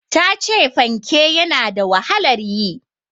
Ta ce fanke ya na da wahalar yi.